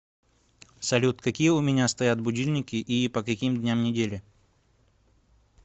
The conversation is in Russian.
салют какие у меня стоят будильники и по каким дням недели